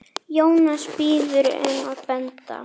Jónas biður um að benda